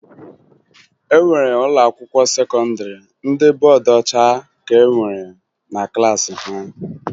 E nwere ụlọakwụkwọ sekọndịrị ndị bụ bọọdụ ọcha ka nwere na klaasị ha